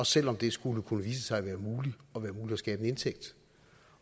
selv om det skulle vise sig at være muligt at skabe en indtægt